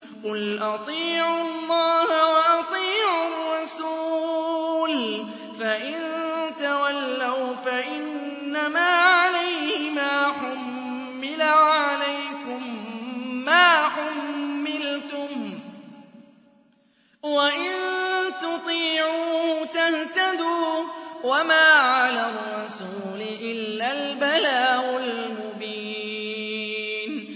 قُلْ أَطِيعُوا اللَّهَ وَأَطِيعُوا الرَّسُولَ ۖ فَإِن تَوَلَّوْا فَإِنَّمَا عَلَيْهِ مَا حُمِّلَ وَعَلَيْكُم مَّا حُمِّلْتُمْ ۖ وَإِن تُطِيعُوهُ تَهْتَدُوا ۚ وَمَا عَلَى الرَّسُولِ إِلَّا الْبَلَاغُ الْمُبِينُ